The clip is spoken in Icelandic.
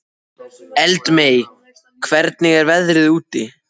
Eldmey, hvernig er veðrið úti?